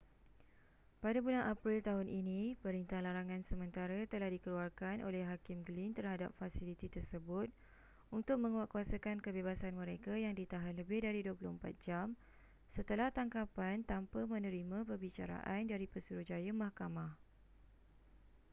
pada bulan april tahun ini perintah larangan sementara telah dikeluarkan oleh hakim glynn terhadap fasiliti tersebut untuk menguatkuasakan kebebasan mereka yang ditahan lebih dari 24 jam setelah tangkapan tanpa menerima perbicaraan dari pesuruhjaya mahkamah